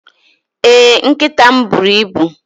Ee, nkịta m buru ibu.